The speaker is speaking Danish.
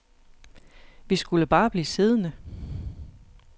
Vi skulle bare blive siddende.